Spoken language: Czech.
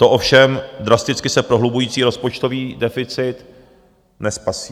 To ovšem drasticky se prohlubující rozpočtový deficit nespasí.